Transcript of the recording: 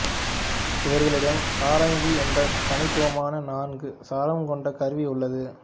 இவர்களிடம் சாரங்கி என்ற தனித்துவமான நான்கு சரம் கொண்ட கருவி உள்ளது